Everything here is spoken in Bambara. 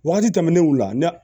Wagati tɛmɛnenw la